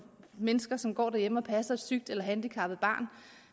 mennesker som går derhjemme og passer et sygt eller handicappet barn